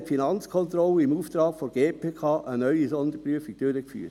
2017 führte die Finanzkontrolle im Auftrag der GPK eine neue Sonderprüfung durch.